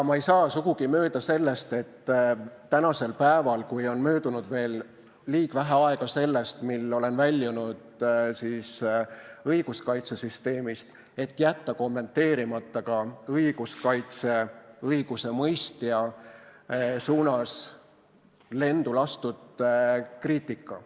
Ma ei saa sugugi mööda sellest, et nüüd, kui on möödunud veel liiga vähe aega minu õiguskaitsesüsteemist väljumisest, jätta kommenteerimata ka õigusemõistja suunas lendu lastud kriitika.